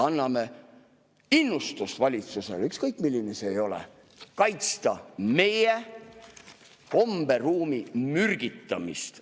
Anname innustust valitsusele, ükskõik milline see ka ei ole, kaitsta meie komberuumi mürgitamise eest.